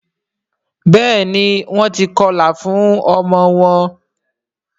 béèni Wón tí kọla fún ọmọ wón